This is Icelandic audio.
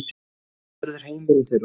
Hann verður heimurinn þeirra.